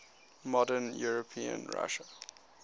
modern european russia